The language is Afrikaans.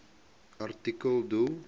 artikel bedoel